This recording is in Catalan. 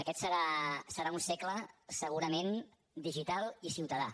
aquest serà un segle segurament digital i ciutadà